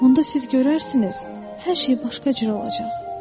Onda siz görərsiniz, hər şey başqa cür olacaq.